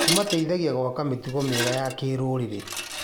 Kũmateithagia gwaka mĩtugo mĩega ya kĩrũrĩrĩ.